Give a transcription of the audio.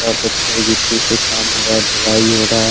यहा पत्थर गिट्टी से काम हो रहा है ढलाई हो रहा --